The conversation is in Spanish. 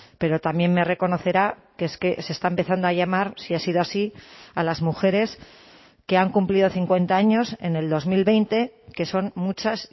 pero también me reconocerá que es que se está empezando a llamar si ha sido así a las mujeres que han cumplido cincuenta años en el dos mil veinte que son muchas